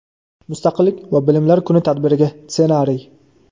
Mustaqillik va bilimlar kuni tadbiriga ssenariy.